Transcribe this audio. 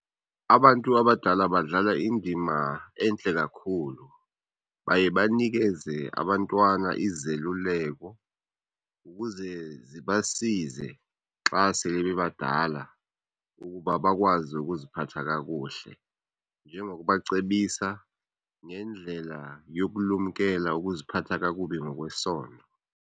Abantu abadala badlala indima entle kakhulu. Baye banikeze abantwana izeluleko ukuze zibasize xa sele bebadala ukuba bakwazi ukuziphatha kakuhle njengokubacebisa ngendlela yokulumkela ukuziphatha kakubi ngokwesondo.